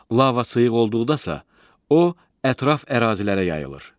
Lava sıyıq olduqda isə, o ətraf ərazilərə yayılır.